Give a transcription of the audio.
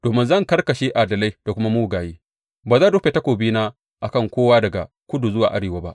Domin zan karkashe adalai da kuma mugaye, ba zan rufe takobina a kan kowa daga kudu zuwa arewa ba.